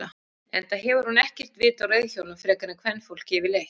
Enda hefur hún ekkert vit á reiðhjólum frekar en kvenfólk yfirleitt.